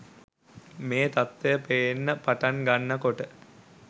මේ තත්වය පේන්න පටන් ගන්න කොට